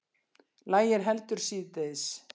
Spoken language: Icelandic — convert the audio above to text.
Lægir heldur síðdegis